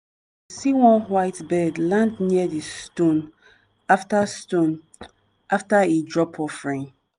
see one white bird land near di stone after stone after e drop offering.